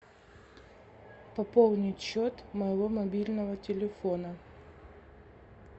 пополнить счет моего мобильного телефона